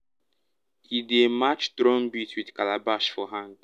e dey match drum beat with calabash for hand.